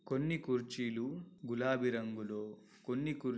కొన్ని కుర్చీలు గులాబీ రంగులు కొన్ని కుర్ --